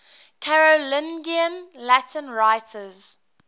carolingian latin writers